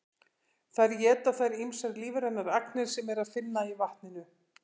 þar éta þær ýmsar lífrænar agnir sem er að finna í vatninu